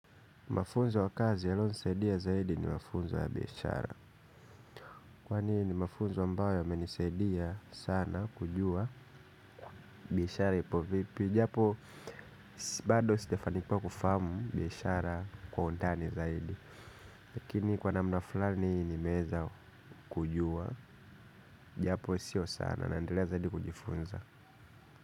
Mafunzo ya kazi yaliyonisaidia zaidi ni mafunzo ya biashara kwani ni mafunzo ambayo yamenisaidia sana kujua biashara ipo vipi japo bado sijafanikiwa kufahamu biashara kwa undani zaidi lakini kwa namna fulani nimeeza kujua japo sio sana naendelea zaidi kujifunza.